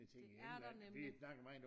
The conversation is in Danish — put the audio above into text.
Det er der nemlig